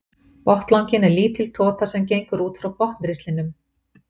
Botnlanginn er lítil tota sem gengur út frá botnristlinum.